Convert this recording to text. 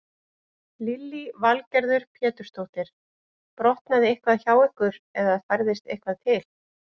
Lillý Valgerður Pétursdóttir: Brotnaði eitthvað hjá ykkur eða færðist eitthvað til?